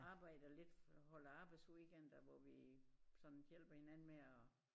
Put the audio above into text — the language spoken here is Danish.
Arbejder lidt holder arbejdsweekender hvor vi sådan hjælper hinanden med at